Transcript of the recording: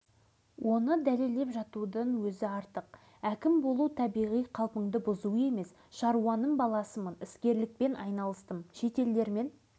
мен қазіргі ел басқарып жүрген көптеген азаматтардай партияның мәртебелі мектебінен шыңдалып шыққаным жоқ депті алашыбай жергілікті басылымдардың біріне